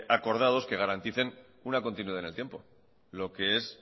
acordados que garanticen una continuidad en el tiempo lo que es